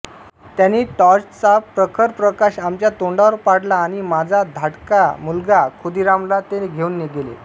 त्यांनी टॉर्चचा प्रखर प्रकाश आमच्या तोंडावर पाडला आणि माझा धाटका मुलगा खुदिरामला ते घेऊन गेले